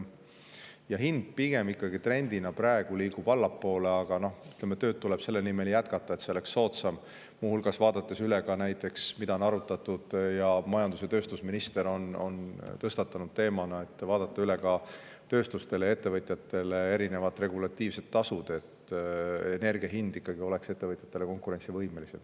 Ja hind pigem ikkagi liigub praegu trendina allapoole, aga tööd tuleb selle nimel jätkata, et see oleks soodsam, muu hulgas vaadates üle ka näiteks selle, mida on arutatud ning mida on majandus- ja tööstusminister teemana tõstatanud – vaadata üle ka tööstuste ja ettevõtjate puhul erinevad regulatiivsed tasud, et energia hind oleks ikkagi ettevõtjate jaoks konkurentsivõimeline.